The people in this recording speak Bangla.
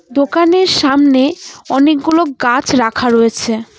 দোকানের সামনে অনেক গুলো গাছ রাখা রয়েছে।